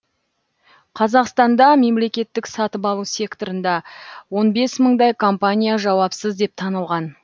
қазақстанда мемлекеттік сатып алу секторында он бес мыңдай компания жауапсыз деп танылған